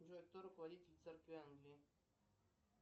джой кто руководитель церкви англии